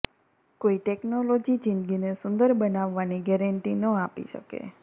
કોઈ ટેક્નોલોજી જિંદગીને સુંદર બનાવવાની ગેરંટી ન આપી શકે